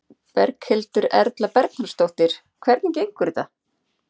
Berghildur Erla Bernharðsdóttir: Hvernig gengur þetta?